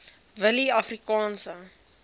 willieafrikaanse